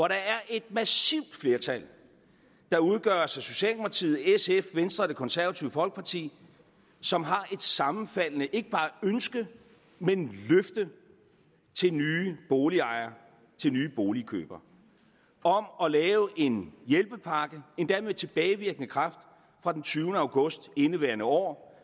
der er et massivt flertal der udgøres af socialdemokratiet sf venstre og det konservative folkeparti som har et sammenfaldende ikke bare ønske men løfte til nye boligejere til nye boligkøbere om at lave en hjælpepakke endda med tilbagevirkende kraft fra den tyvende august i indeværende år